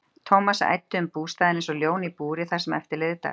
Thomas æddi um bústaðinn einsog ljón í búri það sem eftir lifði dags.